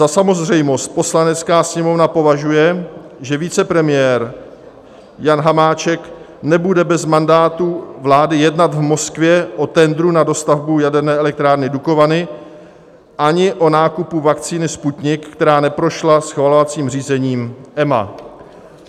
Za samozřejmost Poslanecká sněmovna považuje, že vicepremiér Jan Hamáček nebude bez mandátu vlády jednat v Moskvě o tendru na dostavbu jaderné elektrárny Dukovany ani o nákupu vakcíny Sputnik, která neprošla schvalovacím řízením EMA."